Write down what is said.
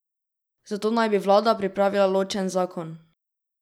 Za to naj bi vlada pripravila ločen zakon.